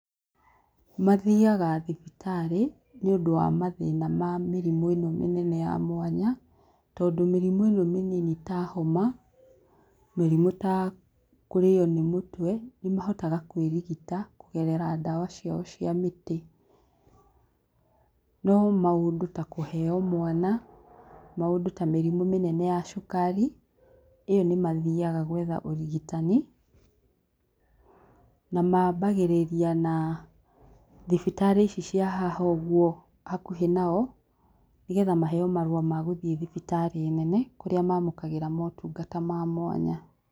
Mathiaga thibitarĩ nĩ ũndũ wa mathĩna ma mĩrimũ ĩno mĩnene ya mwanya, tondũ mĩrimũ ĩno mĩnini ta homa mĩrimũ ta kũrĩyo nĩ mũtwe nĩ mahotaga kwĩrigita kũgerera dawa ciao cia mĩtĩ, no maũndũ ta kũheo mwana maũndũ ta mĩrimũ mĩnene ta ya cukari ĩyo nĩ mathiaga gwetha ũrigitani na mambagĩrĩria na thibitarĩ ici cia haha ũguo hakuhĩ nao, nĩgetha maheo marũa ma gũthiĩ thibitarĩ nene kũrĩa mamũkagĩra motungata ma mwanya.